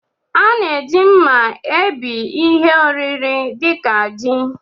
A na-eji mma ebí ihe oriri dị ka ji